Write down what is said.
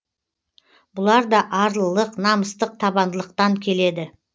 бұлар да арлылық намыстық табандылықтан келеді